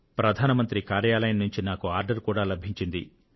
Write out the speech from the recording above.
ప్రధాన మంత్రి కార్యాలయం నుంచి నాకు ఆర్డర్ కూడా లభించింది అని